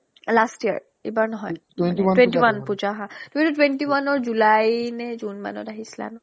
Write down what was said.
last year, ইবাৰ নহয় twenty-one puja হা কিন্তু twenty-one ৰ july নে june মানত আহিছিলা নঅ